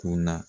Ko na